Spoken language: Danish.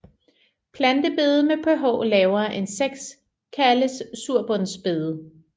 Plantebede med pH lavere end 6 kaldes surbundsbede